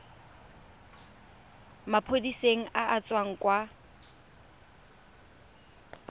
maphodiseng a a tswang kwa